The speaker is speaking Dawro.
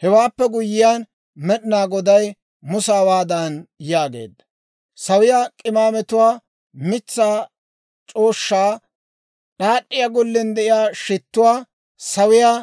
Hewaappe guyye Med'inaa Goday Musa hawaadan yaageedda; «Sawiyaa k'imaametuwaa: mitsaa c'ooshshaa, d'aad'd'iyaa gollen de'iyaa shittuwaa, sawiyaa